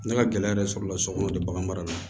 Ne ka gɛlɛya yɛrɛ sɔrɔ la sokɔnɔ de b'an mara